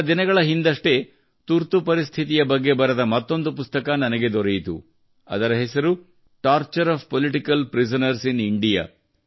ಕೆಲವು ದಿನಗಳ ಹಿಂದಷ್ಟೇ ತುರ್ತು ಪರಿಸ್ಥಿತಿಯ ಬಗ್ಗೆ ಬರೆದ ಮತ್ತೊಂದು ಪುಸ್ತಕ ನನಗೆ ದೊರೆಯಿತು ಅದರ ಹೆಸರು torture of political prisoners in India